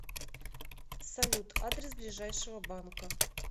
салют адрес ближайшего банка